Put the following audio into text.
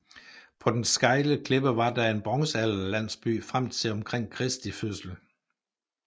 På den stejle klippe var der en bronzealderlandsby frem til omkring Kristi fødsel